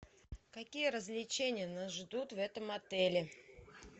какие развлечения нас ждут в этом отеле